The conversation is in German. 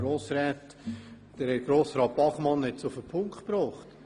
Grossrat Bachmann hat es auf den Punkt gebracht: